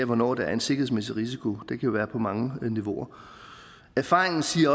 hvornår der er en sikkerhedsmæssig risiko og det kan der være på mange niveauer erfaringen siger